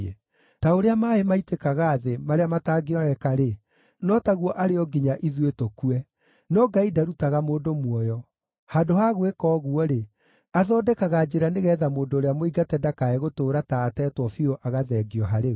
Ta ũrĩa maaĩ maitĩkaga thĩ, marĩa matangĩoeka-rĩ, no taguo arĩ o nginya ithuĩ tũkue. No Ngai ndarutaga mũndũ muoyo; handũ ha gwĩka ũguo-rĩ, athondekaga njĩra nĩgeetha mũndũ ũrĩa mũingate ndakae gũtũũra ta ateetwo biũ agathengio harĩ we.